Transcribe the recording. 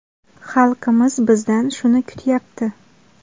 Xalqimiz bizdan shuni kutyapti.